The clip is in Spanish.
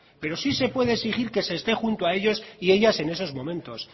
pero sí se puede exigir que se esté junto a ellos y ellas en esos momentos